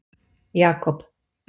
Jakob